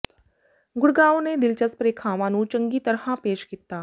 ਗੁੜਗਾਉਂ ਨੇ ਦਿਲਚਸਪ ਰੇਖਾਵਾਂ ਨੂੰ ਚੰਗੀ ਤਰ੍ਹਾਂ ਪੇਸ਼ ਕੀਤਾ